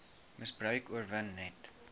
misbruik oorwin net